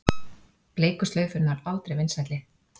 Bleiku slaufurnar aldrei vinsælli